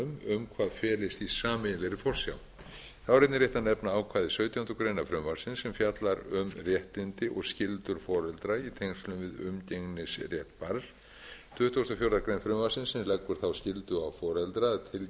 um hvað felist í sameiginlegri forsjá þá er einnig rétt að nefna ákvæði sautjándu grein frumvarpsins sem fjallar um réttindi og skyldur foreldra í tengslum við umgengnisrétt barns tuttugasta og fjórðu grein frumvarpsins sem leggur þá skyldu á foreldra að tilkynna